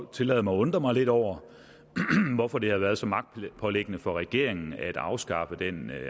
tillade mig at undre mig lidt over hvorfor det har været så magtpåliggende for regeringen at afskaffe den